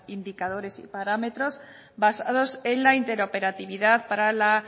indicadores y parámetros basados en la interoperatibidad para la